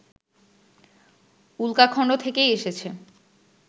উল্কাখন্ড থেকেই এসেছে